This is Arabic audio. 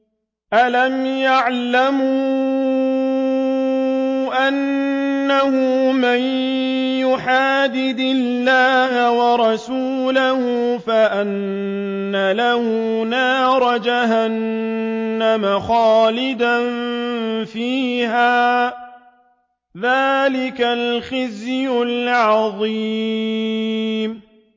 أَلَمْ يَعْلَمُوا أَنَّهُ مَن يُحَادِدِ اللَّهَ وَرَسُولَهُ فَأَنَّ لَهُ نَارَ جَهَنَّمَ خَالِدًا فِيهَا ۚ ذَٰلِكَ الْخِزْيُ الْعَظِيمُ